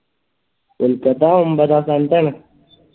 കൊൽക്കത്ത ഒമ്പതാം സ്ഥാനത്താണ്